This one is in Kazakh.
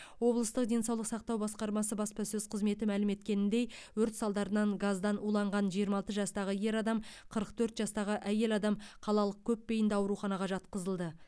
облыстық денсаулық сақтау басқармасының баспасөз қызметі мәлім еткеніндей өрт салдарынан газдан уланған жиырма алты жастағы ер адам қырық төрт жастағы әйел адам қалалық көпбейінді ауруханаға жатқызылды